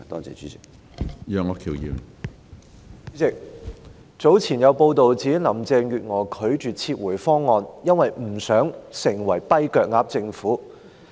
主席，早前有報道指，林鄭月娥拒絕撤回《條例草案》，因為不想港府成為"跛腳鴨"政府。